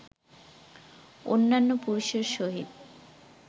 অন্যান্য পুরুষের সহিত